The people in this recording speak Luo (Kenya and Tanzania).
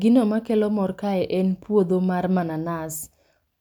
Gino makelo mor kae en puodho mar mananas.